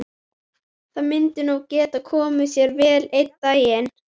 Það myndi nú geta komið sér vel einn daginn.